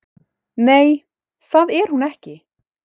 Nei, það er hún ekki